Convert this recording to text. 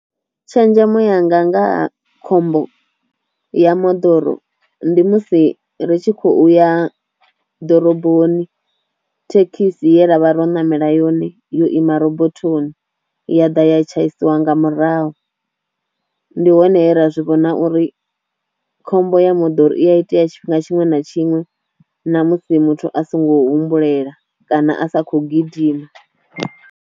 Tshenzhemo yanga nga ha khombo ya moḓoro ndi musi ri tshi khou ya ḓoroboni thekhisi ye ra vha ro namela yone yo ima robothoni ya ḓa ya tshaisiwa nga murahu, ndi hone he ra zwi vhona uri khombo ya moḓoro i a itea tshifhinga tshiṅwe na tshiṅwe na musi muthu a songo humbulela kana a sa kho gidima.